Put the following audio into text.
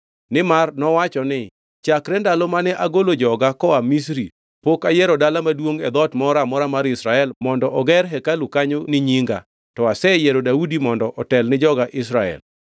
Nimar nowacho ni, ‘Chakre ndalo mane agolo joga koa Misri, pok ayiero dala maduongʼ e dhoot moro amora mar Israel mondo oger hekalu kanyo ni Nyinga, to aseyiero Daudi mondo otel ni joga Israel.’